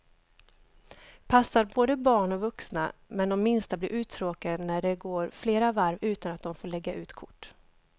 Passar både barn och vuxna, men de minsta blir uttråkade när det går flera varv utan att de får lägga ut kort.